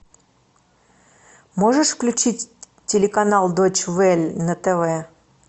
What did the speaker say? можешь включить телеканал дойч вель на тв